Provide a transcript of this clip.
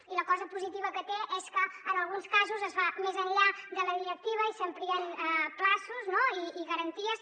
i la cosa positiva que té és que en alguns casos es va més enllà de la directiva i s’amplien terminis no i garanties